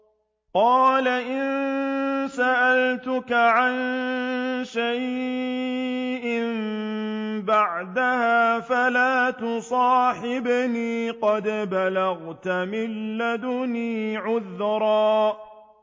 قَالَ إِن سَأَلْتُكَ عَن شَيْءٍ بَعْدَهَا فَلَا تُصَاحِبْنِي ۖ قَدْ بَلَغْتَ مِن لَّدُنِّي عُذْرًا